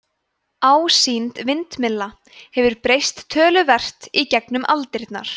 ásýnd vindmylla hefur breyst töluvert í gegnum aldirnar